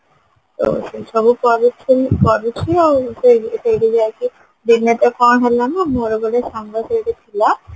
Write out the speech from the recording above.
ସବୁ କରିକି ଆଉ ସେଇଠି ଯାଇକି ଦିନେ ତ କଣ ହେଲା ମୋର ଗୋଟେ ସାଙ୍ଗ ସେଇଠି ଥିଲା